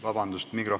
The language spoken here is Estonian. Vabandust!